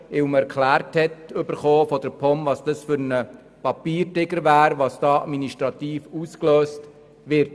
Dies weil seitens der POM erklärt wurde, was das für ein Papiertiger dies wäre und was damit administrativ ausgelöst würde.